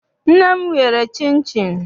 Nne m yere chịnchịn.